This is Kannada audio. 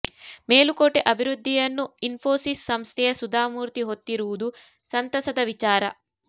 ಮೇಲುಕೋಟೆ ಅಭಿವೃದ್ಧಿಯನ್ನು ಇನ್ಫೋಸಿಸ್ ಸಂಸ್ಥೆಯ ಸುಧಾ ಮೂರ್ತಿ ಹೊತ್ತಿರುವುದು ಸಂತಸದ ವಿಚಾರ